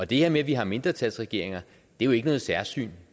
det her med at vi har mindretalsregeringer er jo ikke noget særsyn